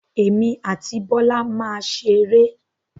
Emi àti Bọ́lá máa ṣeré.